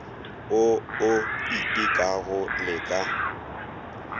wo o itekago le ka